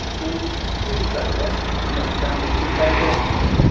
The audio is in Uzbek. U sud zalida qamoqdan ozod qilindi.